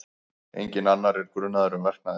Enginn annar er grunaður um verknaðinn